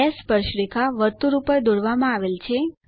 બે સ્પર્શરેખા વર્તુળ પર દોરવામાં આવે છે